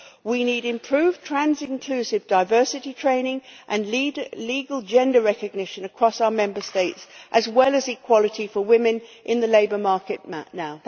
We need improved trans inclusive diversity training and legal gender recognition across our Member States, as well as equality for women in the labour market now.